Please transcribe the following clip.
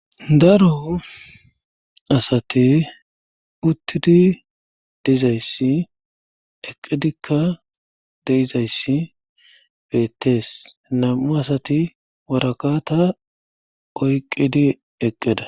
Daro asati uttidi diizayssi eqqidikka deizayssi beettees nam7u asati warakata oyqqidi eqqeda